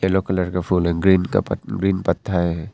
Yellow colour का फूल and green का पात ग्रीन पत्ता है।